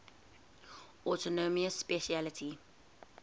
autonomous specialty